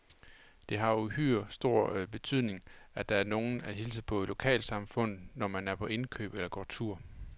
Det har uhyre stor betydning, at der er nogen at hilse på i lokalsamfundet, når man er på indkøb eller går tur.